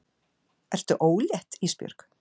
Ertu ólétt Ísbjörg?